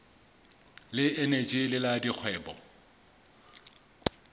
le eneji le la dikgwebo